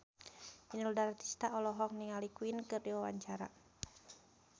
Inul Daratista olohok ningali Queen keur diwawancara